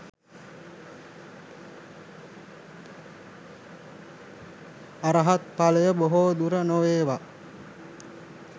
අරහත් ඵලය බොහෝදුර නොවේවා